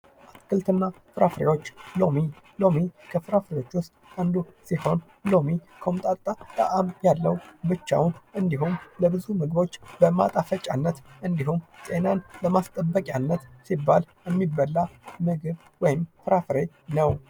አትክልትና ፍራፍሬዎች ሎሚ፡- ሎሚ ከፍራፍሬዎች ውስጥ አንዱ ሲሆን ፤ ሎሚ ኮምጣጣ ጣዕም ያለው ብቻ እንዲሁም ለብዙ ምግቦች ማጣፈጫነት እንዲሁም ጤናን ለማስጠበቂያነት ሲባል የሚበላ የምግብ ወይም ፍራፍሬ ነው።